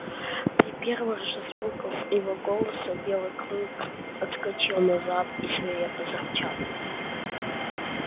при первых же звуках его голоса белый клык отскочил назад и свирепо зарычал